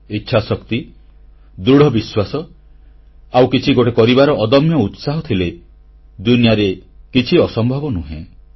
ଇଚ୍ଛାଶକ୍ତି ଦୃଢ଼ବିଶ୍ୱାସ ଆଉ କିଛି ଗୋଟେ କରିବାର ଅଦମ୍ୟ ଉତ୍ସାହ ଥିଲେ ଦୁନିଆରେ କିଛି ଅସମ୍ଭବ ନାହିଁ